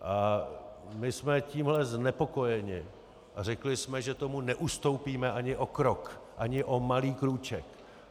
A my jsme tímhle znepokojeni a řekli jsme, že tomu neustoupíme ani o krok, ani o malý krůček.